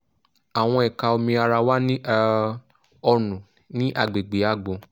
àwọn ẹ̀ka omi ara wà ní um ọrùn ní agbègbè àgbọ̀n